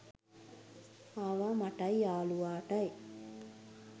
ආවා මටයි යාළුවටයි